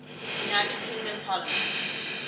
united kingdom parliament